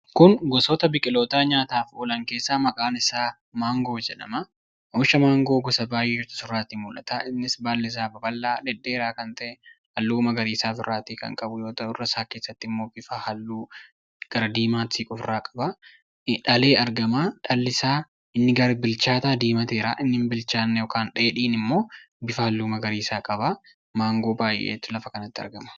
Kun gosoota biqilootaa nyaataafi oolan keessaa maqaan isaa maangoo jedhama. Oomisha maangoo gosa baayyeetu asirraatti mul'ata. Innis baallisaa babal'aa, dhedheeraa kan ta'e, halluu magariiisaa of irraatii kan qabu yoo ta'u, irra isaa keessatti immoo bifa halluu gara diimaati siqu ofrraa qaba. Dhalee argama. Dhallisaa inni gara bilchaataa diimateeraa. Inni hin bilchaanne yookaan dheedhiin immoo bifa halluu magariiisaa qaba. Maangoo baay'eeti lafa kanatti argama.